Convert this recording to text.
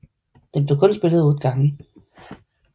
Den blev kun spillet 8 gange